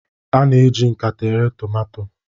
a na-eji nkata ere tomato